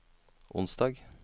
onsdag